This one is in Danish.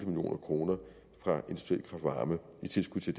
million kroner i tilskud til